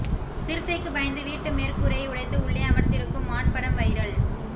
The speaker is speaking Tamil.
சிறுத்தைக்கு பயந்து வீட்டு மேற்கூரையை உடைத்து உள்ளே அமர்ந்திருக்கும் மான் படம் வைரல்